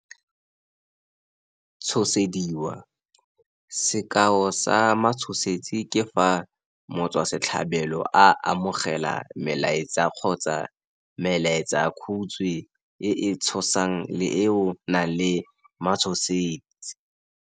Tshosediwa, sekao sa matshosetsi ke fa motswasetlhabelo a amogela melaetsa kgotsa melaetsakhutswe e e tshosang le eo e nang le matshosetsi.